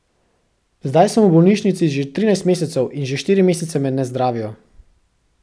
Zdaj sem v bolnišnici že trinajst mesecev in že štiri mesece me ne zdravijo.